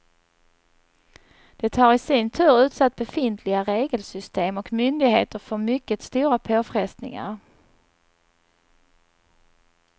Det har i sin tur utsatt befintliga regelsystem och myndigheter för mycket stora påfrestningar.